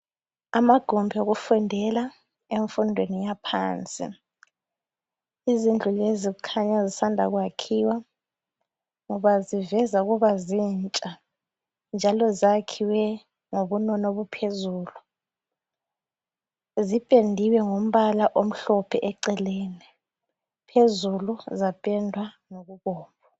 amagumbi okufundela emfundweni yaphansi izindlulezi kukhanya zisanda kwakhiwa ngoba ziveza ukuba zintsha njalo zakhiwe ngobunono obuphezulu zipendiwe ngombala omhlophe eceleni phezulu zapendwa ngokubomvu